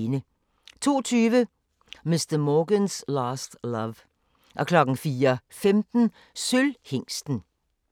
02:20: Mr. Morgan's Last Love 04:15: Sølvhingsten